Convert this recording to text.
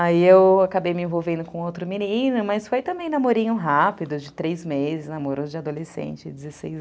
Aí eu acabei me envolvendo com outro menino, mas foi também namorinho rápido, de três meses, namoro de adolescente, dezesseis